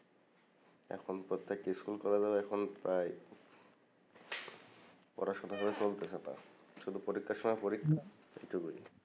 এখন প্রত্যেক স্কুল কলেজের এখন প্রায় পড়াশোনা চলতাছেনা শুধু পরীক্ষার সময় পরীক্ষা এই টুকুই